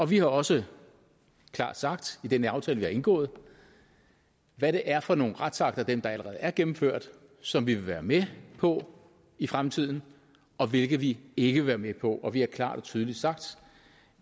vi har også klart sagt i den aftale vi har indgået hvad det er for nogle retsakter af dem der allerede er gennemført som vi vil være med på i fremtiden og hvilke vi ikke vil være med på og vi har klart og tydeligt sagt